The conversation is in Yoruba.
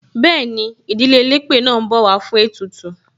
Bẹẹni, ìdílé elépè náà ń bọ̀ wá fún ètùtù.